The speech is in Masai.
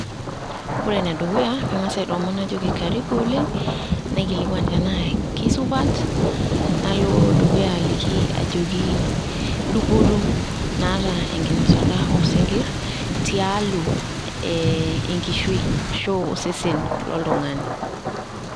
Ore enedukuya, kang'as aitoomon najoki karibu oleng', naikilikuan tenaa keisupat, nalo dukuya aliki ajoki dupoto naata enkinosata oosinkirr tialo eeh enkishu ashu osesen loltung'ani.